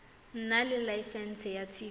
nna le laesense ya tv